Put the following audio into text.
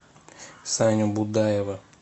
саню будаева